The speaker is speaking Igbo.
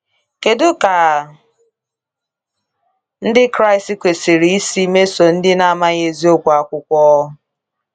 Kedu ka Ndị Kraịst kwesịrị isi mesoo ndị na-amaghị eziokwu akwụkwọ?